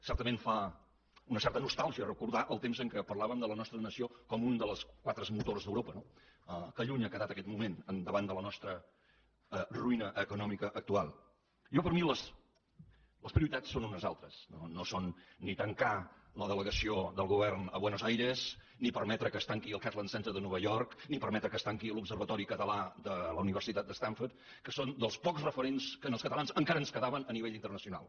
certament fa una certa nostàlgia recordar el temps en què parlàvem de la nostra nació com un dels quatre motors d’europa no que lluny ha quedat aquest moment davant de la nostra ruïna econòmica actual jo per mi les prioritats són unes altres no són ni tancar la delegació del govern a buenos aires ni permetre que es tanqui el catalan center de nova york ni permetre que es tanqui l’observatori català de la universitat de stanford que són dels pocs referents que als catalans encara ens quedaven a nivell internacional